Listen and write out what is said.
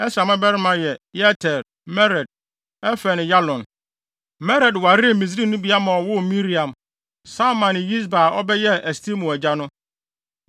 Ɛsra mmabarima yɛ Yeter, Mered, Efer ne Yalon. Mered waree Misraimnibea ma ɔwoo Miriam, Samai ne Yisba a ɔbɛyɛɛ Estemoa agya no.